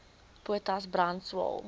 potas brand swael